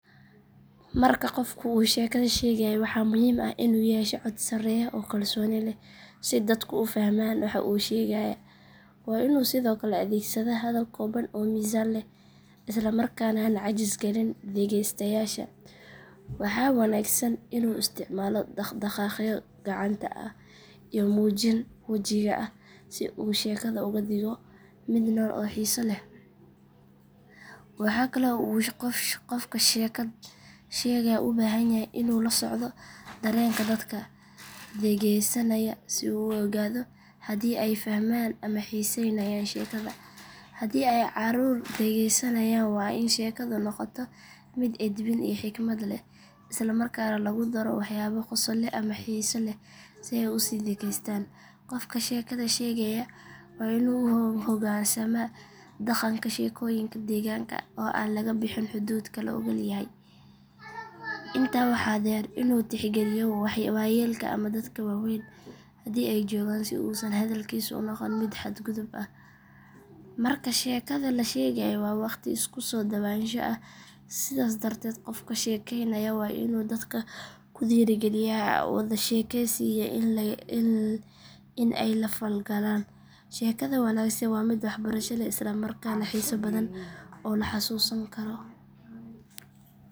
Marka qofku uu sheekada sheegayo waxaa muhiim ah inuu yeesho cod sarreeya oo kalsooni leh si dadku u fahmaan waxa uu sheegayaa. Waa inuu sidoo kale adeegsadaa hadal kooban oo miisaan leh isla markaana aan caajis galin dhegeystayaasha. Waxaa wanaagsan inuu isticmaalo dhaq dhaqaaqyo gacanta ah iyo muujin wajiga ah si uu sheekada uga dhigo mid nool oo xiiso leh. Waxaa kale oo uu qofka sheekad sheegaya u baahan yahay inuu la socdo dareenka dadka dhegeysanaya si uu u ogaado haddii ay fahmayaan ama xiisaynayaan sheekada. Haddii ay caruur dhegeysanayaan waa in sheekadu noqotaa mid edbin iyo xikmad leh isla markaana lagu daro waxyaabo qosol leh ama xiise leh si ay u sii dhegeystaan. Qofka sheekada sheegaya waa inuu u hoggaansamaa dhaqanka sheekooyinka deegaanka oo aan laga bixin xuduudka la oggol yahay. Intaa waxaa dheer inuu tixgeliyo waayeelka ama dadka waaweyn haddii ay joogaan si uusan hadalkiisu u noqon mid xad gudub ah. Marka sheekada la sheegayo waa waqti isku soo dhowaansho ah sidaas darteed qofka sheekaynaya waa inuu dadka ku dhiirrigeliyaa wada sheekaysi iyo in ay la falgalaan. Sheekada wanaagsan waa mid wax barasho leh isla markaana xiiso badan oo la xasuusan karo.